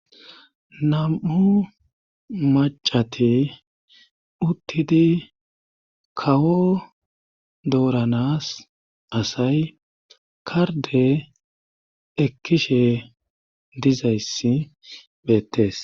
Nam'u macati uttidi kawo dooranas asay karde ekkishe dizayssi .beettes